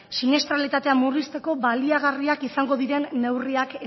siniestralitatea murrizteko baliagarriak izango diren neurriak